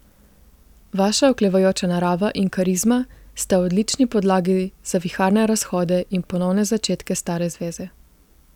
Vaša oklevajoča narava in karizma sta odlični podlagi za viharne razhode in ponovne začetke stare zveze.